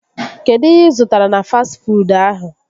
Kedụ ihe ị zụtara na fastị fuud ahụ?